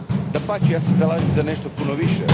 Dapače, ja se zalaže za nešto puno više.